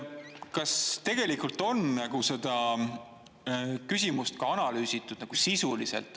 Kas tegelikult on seda küsimust ka analüüsitud sisuliselt?